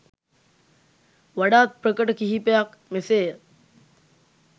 වඩාත් ප්‍රකට කිහිපයක් මෙසේය.